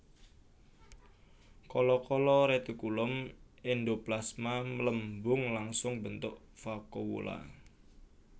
Kala kala retikulum endoplasma mlembung langsung mbentuk vakuola